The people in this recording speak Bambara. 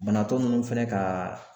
Banabaatɔ ninnu fɛnɛ ka